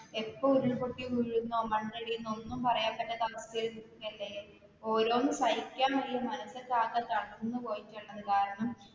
എപ്പോ ഉരുൾ പൊട്ടി വീഴുന്നോ, മണ്ണിടിയുന്നെ ഒന്നും പറയാൻ പറ്റാത്ത അവസ്ഥായിൽ നിൽകുവാല്ലേ, ഓരോന്നും സഹിക്കാൻവയ്യ മനസോക്കെ ആകെ തളർന്നു പോയിട്ട,